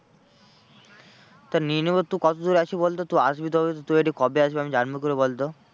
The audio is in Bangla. তা নিয়ে নেবো তুই কত দূর আছিস বলতো তুই আসবি তবে তো তুই কবে আসবি আমি জানবো কি করে বলতো?